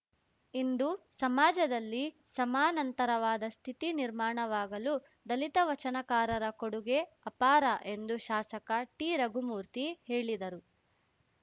ಇಂದು ಸಮಾಜದಲ್ಲಿ ಸಮಾನಂತರವಾದ ಸ್ಥಿತಿ ನಿರ್ಮಾಣವಾಗಲು ದಲಿತ ವಚನಕಾರರ ಕೊಡುಗೆ ಅಪಾರ ಎಂದು ಶಾಸಕ ಟಿರಘುಮೂರ್ತಿ ಹೇಳಿದರು